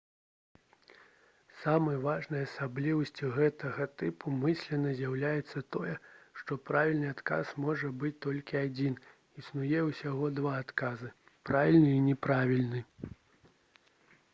самай важнай асаблівасцю гэтага тыпу мыслення з'яўляецца тое што правільны адказ можа быць толькі адзін існуе ўсяго два адказы правільны і няправільны